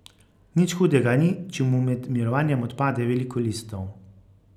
Nič hudega ni, če mu med mirovanjem odpade veliko listov.